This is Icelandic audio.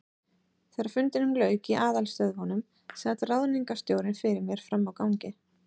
Þegar fundinum lauk í aðalstöðvunum, sat ráðningarstjóri fyrir mér frammi á gangi.